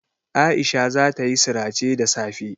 Aisha zata yi sirace da safe.